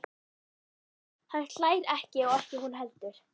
Hann hlær ekki og ekki hún heldur.